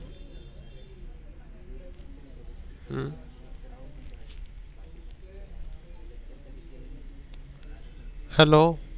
Hello